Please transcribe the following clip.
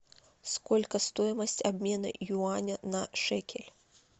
сколько стоимость обмена юаня на шекель